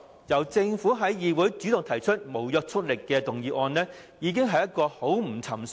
由政府主動提出不擬具立法效力的議案，舉動已經很不尋常。